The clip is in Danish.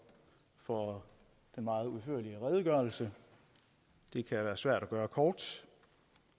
for den meget udførlige redegørelse det kan være svært at gøre kort